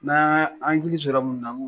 Mɛ hakili sɔrɔ mun na